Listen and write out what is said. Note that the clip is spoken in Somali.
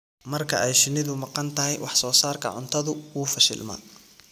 Marka ay shinnidu maqan tahay, wax-soo-saarka cuntadu wuu fashilmaa.